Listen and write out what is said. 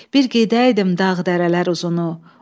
Bir gedəydim dağ-dərələr uzunu.